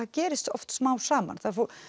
gerist oft smám saman